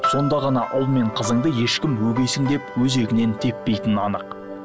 сонда ғана ұл мен қызыңды ешкім өгейсің деп өзегінен теппейтіні анық